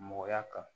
Mɔgɔya kan